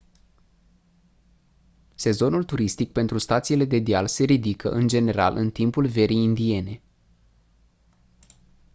sezonul turistic pentru stațiile de deal se ridică în general în timpul verii indiene